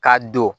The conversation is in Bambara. K'a don